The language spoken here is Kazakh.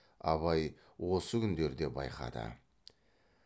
абай осы күндерде байқады